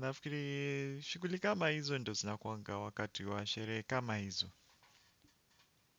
Nafikiri shuguli kama hizo ndo zinakuanga wakati wa sharehe kama hizo.